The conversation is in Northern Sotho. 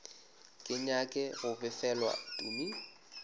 ke nyake go befelwa tumi